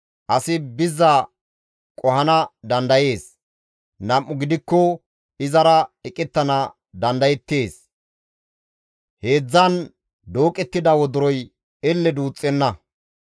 Asi bizza qohana dandayees; nam7u gidikko izara eqettana dandayeettes; Heedzdzan dooqettida wodoroy elle duuxxenna.